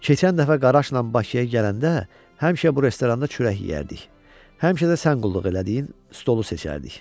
Keçən dəfə qaraşla Bakıya gələndə həmişə bu restoranda çörək yeyərdik, həmişə də sən qulluq elədiyin stolu seçərdik.